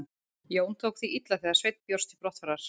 Jón tók því illa þegar Sveinn bjóst til brottfarar.